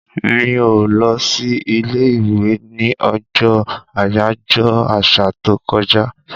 Mi ò lọ sí ilé-ìwé ní ọjọ́ àyájọ́ àṣà tó kọjá.